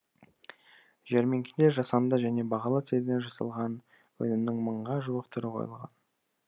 жәрмеңкеде жасанды және бағалы теріден жасалған өнімнің мыңға жуық түрі қойылған